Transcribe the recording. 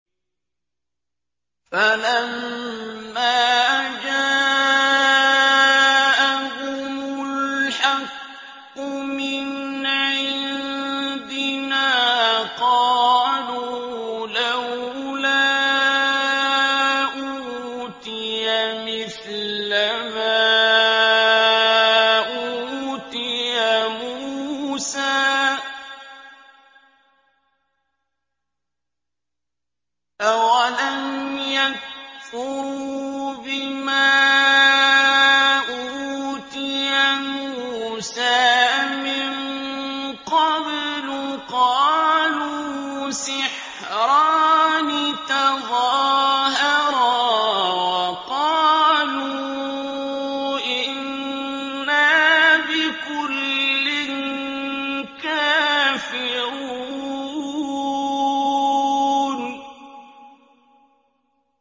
فَلَمَّا جَاءَهُمُ الْحَقُّ مِنْ عِندِنَا قَالُوا لَوْلَا أُوتِيَ مِثْلَ مَا أُوتِيَ مُوسَىٰ ۚ أَوَلَمْ يَكْفُرُوا بِمَا أُوتِيَ مُوسَىٰ مِن قَبْلُ ۖ قَالُوا سِحْرَانِ تَظَاهَرَا وَقَالُوا إِنَّا بِكُلٍّ كَافِرُونَ